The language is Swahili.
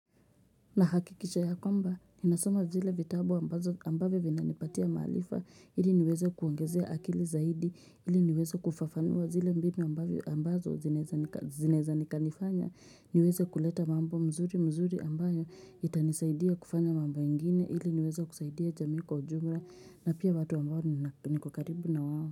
Nahakikisha ya kwamba, ninasoma zile vitabu ambazo ambazo ambavyo vinanipatia maarifa, ili niweze kuongezea akili zaidi, ili niweze kufafanua zile mbinu ambazo zinaeza zineza ni kanifanya, niweze kuleta mambo mzuri mzuri ambayo itanisaidia kufanya mambo ingine, ili niweze kusaidia jamii kwa ujumla, na pia watu ambao niko karibu na wao.